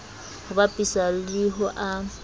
ho bapiswa le ho a